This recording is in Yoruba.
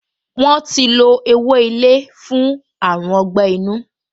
Wọ́n ti lo ewé ilé fún àrùn ọgbẹ́-inú